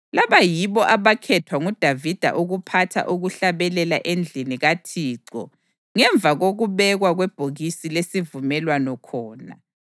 Laba yibo abakhethwa nguDavida ukuphatha ukuhlabelela endlini kaThixo ngemva kokubekwa kwebhokisi lesivumelwano khona.